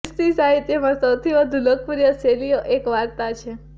ખ્રિસ્તી સાહિત્યમાં સૌથી વધુ લોકપ્રિય શૈલીઓ એક વાર્તા છે